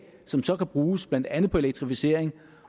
som så kan bruges blandt andet på elektrificering